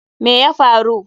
Me ya faru?